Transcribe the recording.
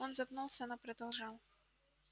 он запнулся но продолжал